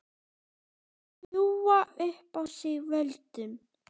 Ljúga upp á sig völdum?